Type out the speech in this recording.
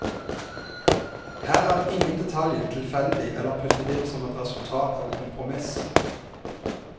Her er ingen detalj tilfeldig eller puttet inn som et resultat av kompromiss.